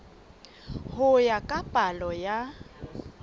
ho ya ka palo ya